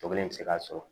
Tɔ kelen bɛ se k'a sɔrɔ